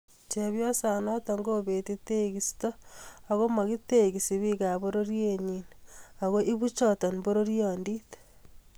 Chepyosonato kobeti tekisto akomakitekisi bikap pororienyi ako ibu choto pororiondit